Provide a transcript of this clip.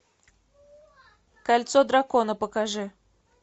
кольцо дракона покажи